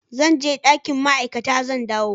Zan je dakin ma'aikata, zan dawo.